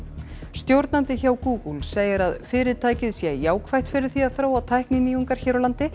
stjórnandi hjá Google segir að fyrirtækið sé jákvætt fyrir því að þróa tækninýjungar hér á landi